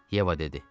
Yeva dedi.